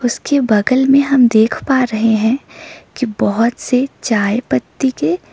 उसके बगल में हम देख पा रहे हैं की बहोत से चाय पत्ती के--